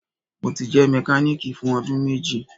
Mo ti jẹ mekaniki fun ọdun meji